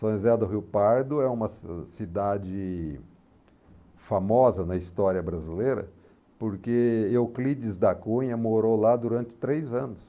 São José do Rio Pardo é uma ci cidade famosa na história brasileira porque Euclides da Cunha morou lá durante três anos.